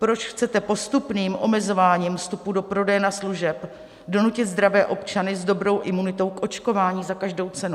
Proč chcete postupným omezováním vstupu do prodejen a služeb donutit zdravé občany s dobrou imunitou k očkování za každou cenu?